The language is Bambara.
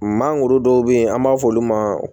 Mangoro dɔw bɛ yen an b'a f'olu ma